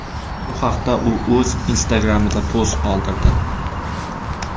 Bu haqda u o‘z Instagram’ida post qoldirdi .